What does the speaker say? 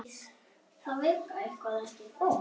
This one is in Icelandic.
Þau eru ekki einungis svífandi á bleiku skýi.